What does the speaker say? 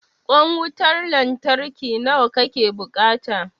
Ƙwan wutan lantarki nawa ka ke buƙata?